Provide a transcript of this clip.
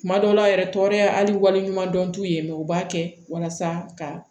Kuma dɔw la yɛrɛ tɔɔrɔya hali waleɲuman dɔn t'u ye u b'a kɛ walasa ka